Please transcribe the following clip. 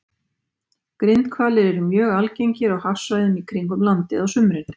Grindhvalir eru mjög algengir á hafsvæðum í kringum landið á sumrin.